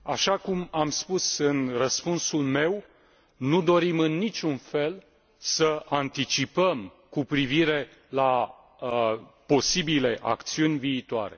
Așa cum am spus în răspunsul meu, nu dorim în niciun fel să anticipăm cu privire la posibile acțiuni viitoare.